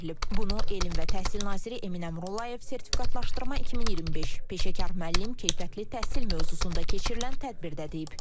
Bunu Elm və Təhsil Naziri Emin Əmrullayev Sertifikatlaşdırma 2025 peşəkar müəllim keyfiyyətli təhsil mövzusunda keçirilən tədbirdə deyib.